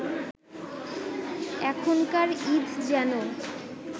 এখনকার ঈদ যেন